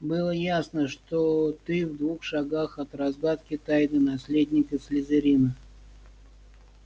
было ясно что ты в двух шагах от разгадки тайны наследника слизерина